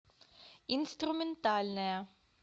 инструментальная